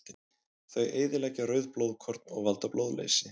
Þau eyðileggja rauð blóðkorn og valda blóðleysi.